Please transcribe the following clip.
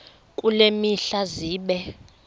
kule mihla zibe